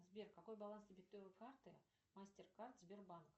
сбер какой баланс дебетовой карты мастер кард сбербанк